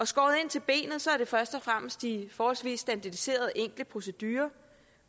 skåret ind til benet er det først og fremmest de forholdsvis standardiserede enkle procedurer